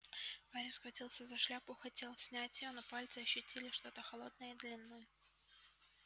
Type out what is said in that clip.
гарри схватился за шляпу хотел снять её но пальцы ощутили что-то холодное и длинное